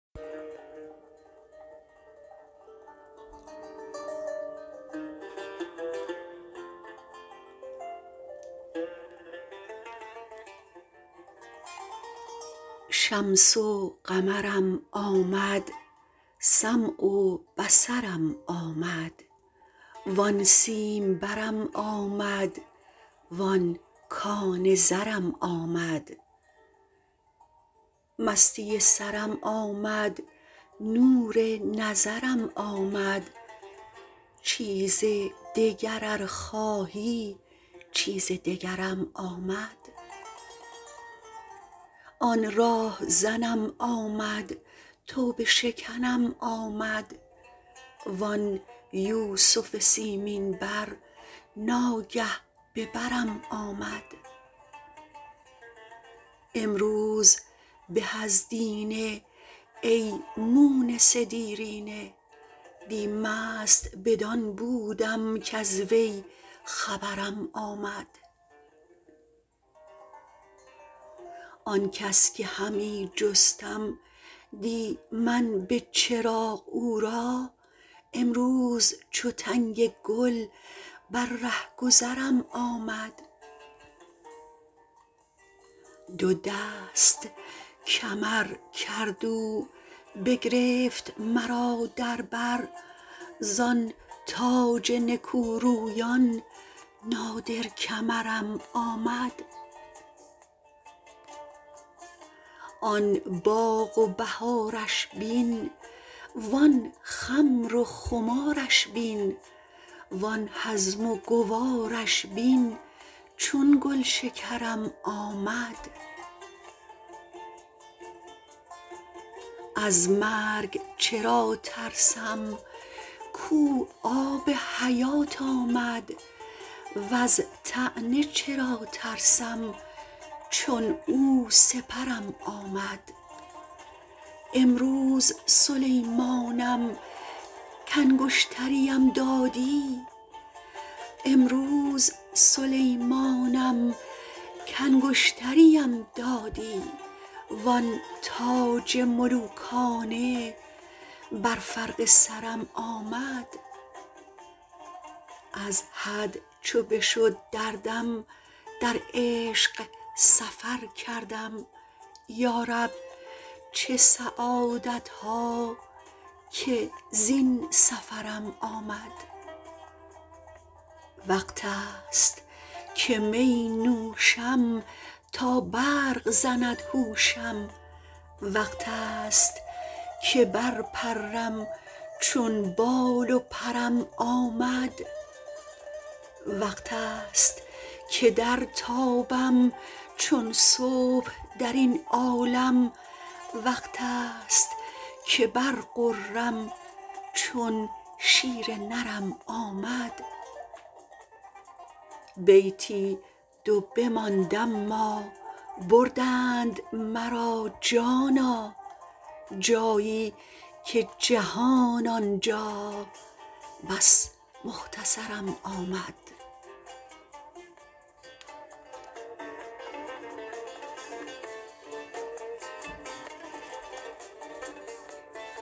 شمس و قمرم آمد سمع و بصرم آمد وان سیمبرم آمد وان کان زرم آمد مستی سرم آمد نور نظرم آمد چیز دگر ار خواهی چیز دگرم آمد آن راه زنم آمد توبه شکنم آمد وان یوسف سیمین بر ناگه به برم آمد امروز به از دینه ای مونس دیرینه دی مست بدان بودم کز وی خبرم آمد آن کس که همی جستم دی من به چراغ او را امروز چو تنگ گل بر ره گذرم آمد دو دست کمر کرد او بگرفت مرا در بر زان تاج نکورویان نادر کمرم آمد آن باغ و بهارش بین وان خمر و خمارش بین وان هضم و گوارش بین چون گلشکرم آمد از مرگ چرا ترسم کو آب حیات آمد وز طعنه چرا ترسم چون او سپرم آمد امروز سلیمانم کانگشتریم دادی وان تاج ملوکانه بر فرق سرم آمد از حد چو بشد دردم در عشق سفر کردم یا رب چه سعادت ها که زین سفرم آمد وقتست که می نوشم تا برق زند هوشم وقتست که برپرم چون بال و پرم آمد وقتست که درتابم چون صبح در این عالم وقتست که برغرم چون شیر نرم آمد بیتی دو بماند اما بردند مرا جانا جایی که جهان آن جا بس مختصرم آمد